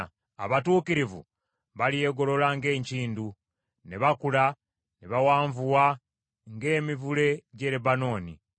Abatuukirivu balyegolola ng’enkindu, ne bakula ne bawanvuwa ng’emivule gy’e Lebanooni.